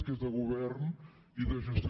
que és de govern i de gestió